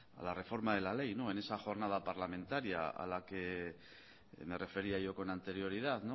la reforma de la ley en esa jornada parlamentaria a la que me refería yo con anterioridad